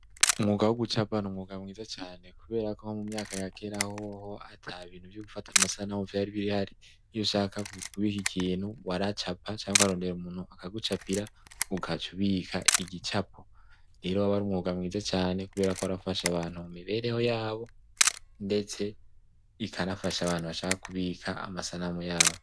Umwuga wugucapa numwuga mwiza cane kuberako mumyaka yakera hoho atabintu vyogufata amasanamu vyari bihari iyushaka kubika ikintu waracapa canke ukarondero umunu abigucapira ukacubika igicapo rero wabari umwuga mwiza cane kubera ko warafasha abantu mumibereho yabo ndetse ikanafasha abantu bashaka kubika amasanamu yabo